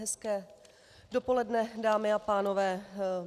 Hezké dopoledne, dámy a pánové.